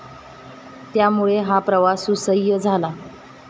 त्यामुळे हा प्रवास सुसह्य झाला.